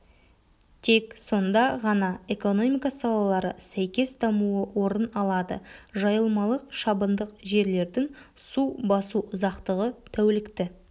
тек сонда ғана экономика салалары сәйкес дамуы орын алады жайылмалық шабындық жерлердің су басу ұзақтығы тәулікті